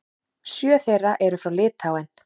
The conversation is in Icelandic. Sjö þeirra eru frá Litháen.